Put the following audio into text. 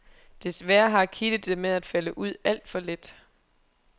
Desværre har kittet det med at falde ud alt for let.